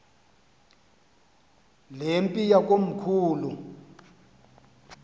le mpi yakomkhulu